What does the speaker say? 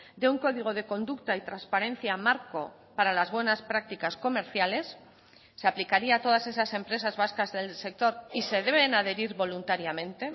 de un código de conducta y transparencia marco para las buenas prácticas comerciales se aplicaría a todas esas empresas vascas del sector y se deben adherir voluntariamente